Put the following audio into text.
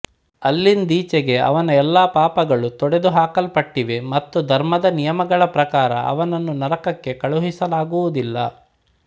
ಅಲ್ಲಿಂದೀಚೆಗೆ ಅವನ ಎಲ್ಲಾ ಪಾಪಗಳೂ ತೊಡೆದುಹಾಕಲ್ಪಟ್ಟಿವೆ ಮತ್ತು ಧರ್ಮದ ನಿಯಮಗಳ ಪ್ರಕಾರ ಅವನನ್ನು ನರಕಕ್ಕೆ ಕಳುಹಿಸಲಾಗುವುದಿಲ್ಲ